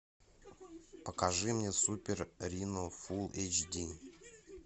покажи мне супер рино фулл эйч ди